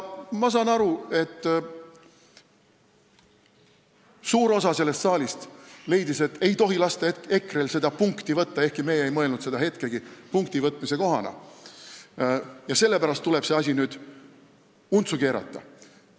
Ma saan aru, et suur osa sellest saalis leidis, et ei tohi lasta EKRE-l seda punkti võtta – ehkki meie ei mõelnud hetkegi sellest kui punktivõtmise kohast – ja sellepärast tuleb see asi nüüd untsu keerata.